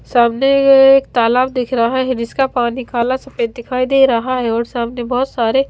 सामने ये एक तालाब दिख रहा है जिसका पानी काला सफेद दिखाई दे रहा है और सामने बहोत सारे--